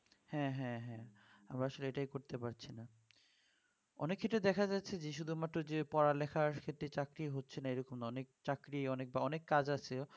হ্যাঁ হ্যাঁ হ্যাঁ আমরা আসলে এটাই করতে পারছি না অনেক ক্ষেত্রে দেখা যাচ্ছে যে শুধুমাত্র পড়া লেখার ক্ষেত্রে চাকরি হচ্ছে না এরকম না অনেক চাকরি অনেক বা অনেক কাজ আছে